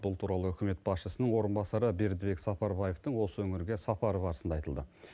бұл туралы үкімет басшысының орынбасары бердібек сапарбаевтың осы өңірге сапары барысында айтылды